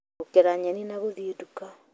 Gũkera nyeni na gũthĩĩ nduka